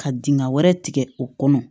Ka dingɛ wɛrɛ tigɛ o kɔnɔ